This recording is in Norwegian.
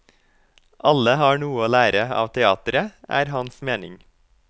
Alle har noe å lære av teatret, er hans mening.